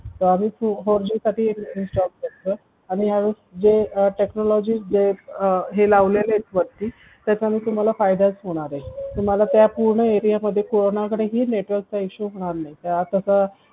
तर आम्ही four G साठी job करतोय आणि ह्या वेळेस जे technology जे हे वरती लावलेले आहेत त्याच्यामुळे तुम्हाला फायदेच होणार आहेत तुम्हाला त्या पूर्ण area मध्ये कोणाकडेही network issue चा होणार नाही